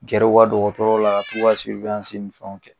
Gɛr'u ka dɔkɔtɔrɔ la ka t'u ka ni fɛnw kɛ